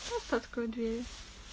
просто открой двери